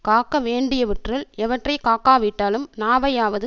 காக்க வேண்டியவற்றுள் எவற்றை காக்கா விட்டாலும் நாவையாவது